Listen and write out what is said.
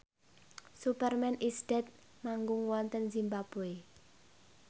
Superman is Dead manggung wonten zimbabwe